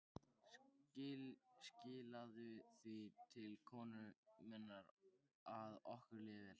Skilaðu því til konu minnar að okkur líði vel.